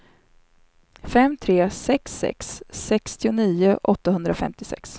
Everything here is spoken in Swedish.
fem tre sex sex sextionio åttahundrafemtiosex